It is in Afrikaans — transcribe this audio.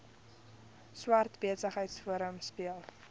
swart besigheidsforum speel